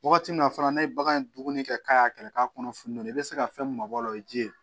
Wagati min na a fana n'a ye bagan in dumuni kɛ k'a y'a kɛlɛ k'a kɔnɔ funun nɔ i bɛ se ka fɛn min mabɔ a la o ye ji ye